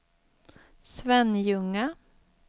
Svenljunga